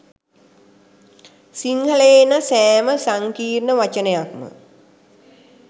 සිංහලයෙහි එන සෑම සංකීර්ණ වචනයක්ම